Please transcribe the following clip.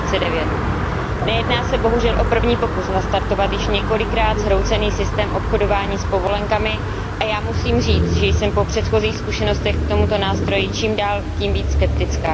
2009. Nejedná se bohužel o první pokus nastartovat již několikrát zhroucený systém obchodování s povolenkami a já musím říct, že jsem po předchozích zkušenostech k tomuto nástroji čím dál tím víc skeptická.